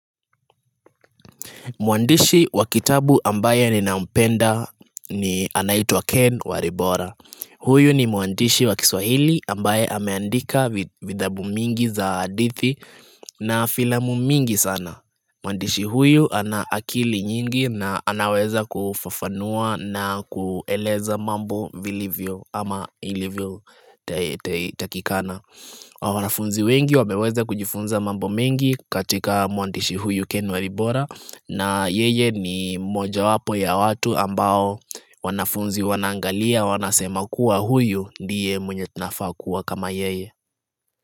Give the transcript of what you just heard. Mwandishi wa kitabu ambaye ninampenda ni anaitwa Ken Waribora. Huyu ni mwandishi wa kiswahili ambaye ameandika vithabu mingi za adithi na filamu mingi sana. Mwandishi huyu ana akili nyingi na anaweza kufafanua na kueleza mambo vilivyo ama ilivyotakikana. Wanafunzi wengi wameweza kujifunza mambo mengi katika mwandishi huyu ken waribora na yeye ni mojawapo ya watu ambao wanafunzi wanaangalia wanasema kuwa huyu ndiye mwenye tunafaa kuwa kama yeye.